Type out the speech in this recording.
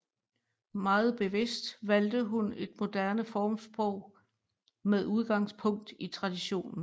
Meget bevidst valgte hun et moderne formsprog med udgangspunkt i traditionen